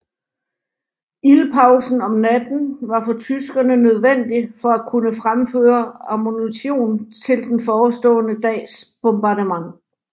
Ildpausen om natten var for tyskerne nødvendig for at kunne fremføre ammunition til den forestående dags bombardement